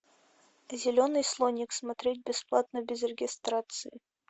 зеленый слоник смотреть бесплатно без регистрации